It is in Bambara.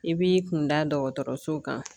I b'i kun da dɔgɔtɔrɔso kan